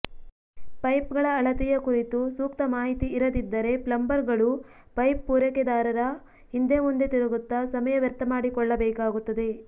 ಪೈಪ್ಗಳ ಅಳತೆಯ ಕುರಿತು ಸೂಕ್ತ ಮಾಹಿತಿ ಇರದಿದ್ದರೆ ಪ್ಲಂಬರ್ಗಳು ಪೈಪ್ ಪೂರೈಕೆದಾರರ ಹಿಂದೆ ಮುಂದೆ ತಿರುಗುತ್ತ ಸಮಯ ವ್ಯರ್ಥ ಮಾಡಿಕೊಳ್ಳಬೇಕಾಗುತ್ತದೆ